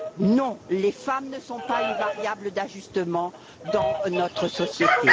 Non, les femmes ne constituent pas une variable d'ajustement dans notre société.